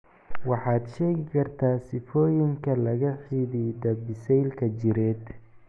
Waxaad sheegi kartaa sifooyinka la xidhiidha biseylka jireed